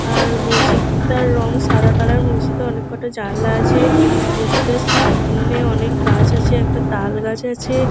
আর মসজিদটার রং সাদা কালার মসজিদে অনেক কোটা জানলা আছে মসজিদের সামনে অনেক গাছ আছে একটা তাল গাছ আছে।